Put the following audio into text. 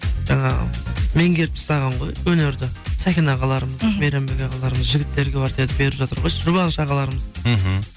жаңағы меңгеріп тастаған ғой өнерді сәкен ағаларымыз мейрамбек ағаларымыз жігіттер квартеті беріп жатыр ғой жұбаныш ағалармыз мхм